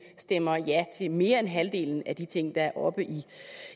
stemmer ja til mere end halvdelen af de ting der er oppe